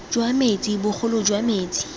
jwa metsi bogolo jwa metsi